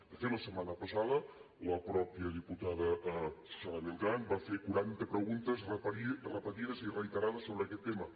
de fet la setmana passada la mateixa diputada susana beltrán va fer quaranta preguntes repetides i reiterades sobre aquest tema